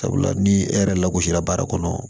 Sabula ni e yɛrɛ lagosira baara kɔnɔ